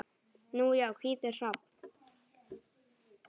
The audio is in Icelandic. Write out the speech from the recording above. Nú já, hvítur hrafn.